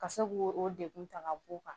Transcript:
Ka se k'o o degun ta ka b'o kan